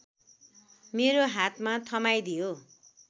मेरो हातमा थमाइदियो